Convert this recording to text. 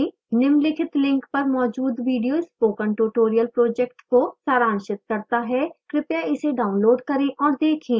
निम्नलिखित link पर मौजूद video spoken tutorial project को सारांशित करता है कृपया इसे डाउनलोड करें और देखें